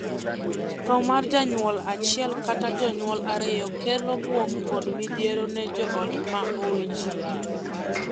Thoo mar janyuol achiel kata jonyuol ariyo kelo buok kod midhiero ne joot ma owee chien.